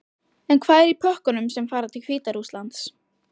En hvað er í pökkunum sem fara til Hvíta-Rússlands?